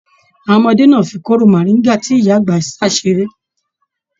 Àwọn ọmọdé náà fí kóró moringa tí ìyá àgbà sa seré.